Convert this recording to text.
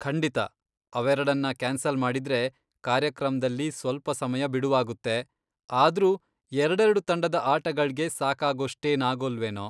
ಖಂಡಿತ ಅವೆರಡನ್ನ ಕ್ಯಾನ್ಸಲ್ ಮಾಡಿದ್ರೆ ಕಾರ್ಯಕ್ರಮ್ದಲ್ಲಿ ಸ್ವಲ್ಪ ಸಮಯ ಬಿಡುವಾಗುತ್ತೆ, ಆದ್ರೂ ಎರಡೆರ್ಡು ತಂಡದ ಆಟಗಳ್ಗೆ ಸಾಕಾಗೋಷ್ಟೇನ್ ಆಗೋಲ್ವೇನೋ.